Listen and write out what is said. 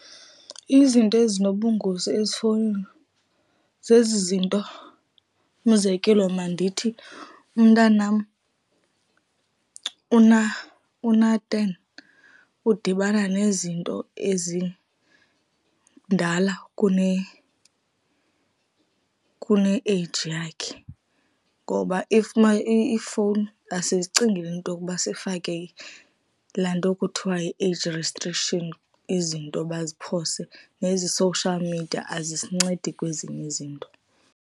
Izinto ezinobungozi ezifowunini zezi zinto. Umzekelo mandithi umntanam una-ten udibana nezinto ezindala kune-age yakhe ngoba iifowuni asizicingelii into yokuba sifake laa nto kuthiwa yi-age restrictions, izinto baziphose. Nezi social media azisincedi kwezinye izinto.